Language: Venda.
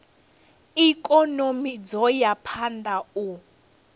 ikonomi dzo ya phanda u